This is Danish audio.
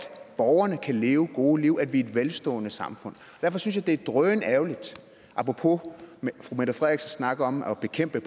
borgerne kan leve gode liv at vi er et velstående samfund derfor synes jeg det er drønærgerligt apropos fru mette frederiksens snak om at bekæmpe